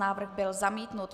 Návrh byl zamítnut.